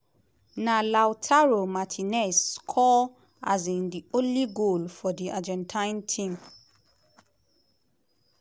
na lautaro martinez score um di only goal for di argentine team.